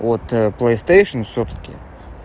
вот плэйстэйшн всё-таки